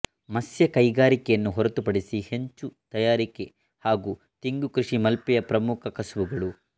ಮತ್ಸ್ಯ ಕೈಗಾರಿಕೆಯನ್ನು ಹೊರತುಪಡಿಸಿ ಹೆಂಚು ತಯಾರಿಕೆ ಹಾಗೂ ತೆಂಗು ಕೃಷಿ ಮಲ್ಪೆಯ ಪ್ರಮುಖ ಕಸುಬುಗಳು